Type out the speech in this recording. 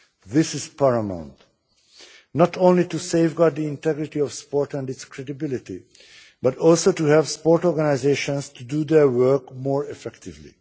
This is paramount not only to safeguard the integrity of sport and its credibility, but also to help sports organisations to do their work more effectively.